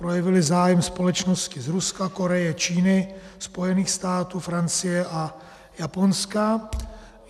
Projevily zájem společnosti z Ruska, Koreje, Číny, Spojených států, Francie a Japonska.